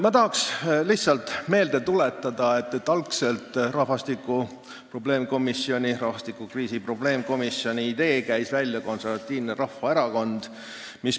Ma tahan lihtsalt meelde tuletada, et algselt käis rahvastikukriisi probleemkomisjoni idee välja Konservatiivne Rahvaerakond.